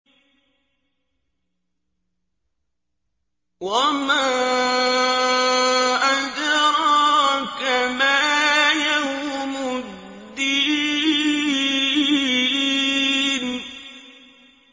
وَمَا أَدْرَاكَ مَا يَوْمُ الدِّينِ